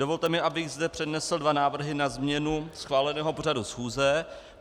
Dovolte mi, abych zde přednesl dva návrhy na změnu schváleného pořadu schůze.